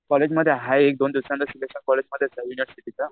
कॉलेजमध्ये हाय एक दोन दिवसाने सिलेक्शन